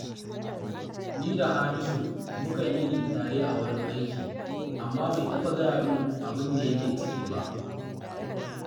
Ni da Hamisu mukan yini tare a wurin aiki, amma bai taɓa gaya min abin da yake ciki ba